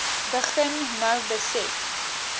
begin nou besef